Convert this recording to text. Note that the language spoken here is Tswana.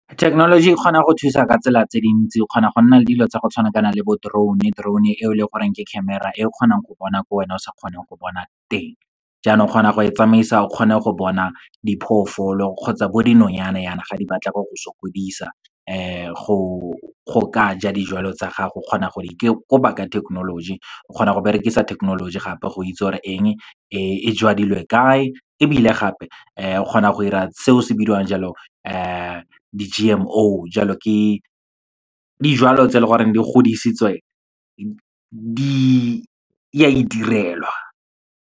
Thekenoloji e kgona go thusa ka tsela tse dintsi, o kgona go nna le dilo tsa go tshwanakana le bo drone-e. Drone-e eo leng goreng ke camera, e kgonang go bona ko wena o sa kgoneng go bona teng. Jaanong o kgona go e tsamaisa o kgone go bona diphoofolo kgotsa bo dinonyane yana, ga di batla go go sokodisa. Go ka ja dijalo tsa gago, o kgona go di koba ka thekenoloji, o kgona go berekisa thekenoloji gape go itse gore eng e jwadilwe kae, ebile gape o kgona go dira seo se bidiwang jalo di-G_M_O. Jalo, ke dijalo tse leng gore di godisitswe ya di direlwa.